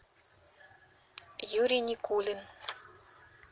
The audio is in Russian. юрий никулин